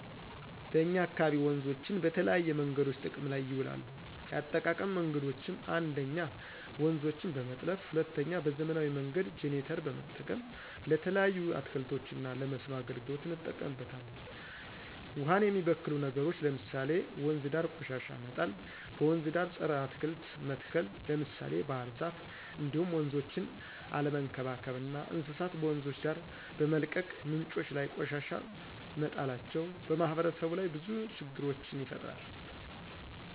በእኛ አካባቢ ወንዞችን በተለያዬ መንገዶች ጥቅም ላይ ይውላሉ የአጠቃቀም መንገዶችም 1ኞ:-ውንዞችን በመጥለፍ 2ኛ:- በዘመናዊ መንገድ ጀነሬተር በመጠቀም። ለተለያዩ አትክልቶች እና ለመስኖ አገልግሎት እንጠቀምበታለን። ውሃን የሚበክሉ ነገሮች ለምሳሌ:- ወንዝ ዳር ቆሻሻ መጣል; በወንዝ ዳር ፀረ አትክልት መትከል ለምሳሌ ባህርዛፍ እንዲሁም ወንዞችን አለመንከባከብ እና እንስሳት በወንዞች ዳር በመልቀቅ ምንጮች ላይ ቆሻሻ መጣላቸው። በማህበረሰቡ ላይ ብዙ ችግሮችን ይፈጥራል